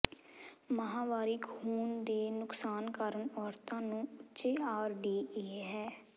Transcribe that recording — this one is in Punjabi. ਮਾਹਵਾਰੀ ਖੂਨ ਦੇ ਨੁਕਸਾਨ ਕਾਰਨ ਔਰਤਾਂ ਨੂੰ ਉੱਚੇ ਆਰ ਡੀ ਏ ਹੈ